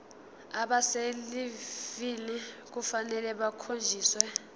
abaselivini kufanele bakhonjiswe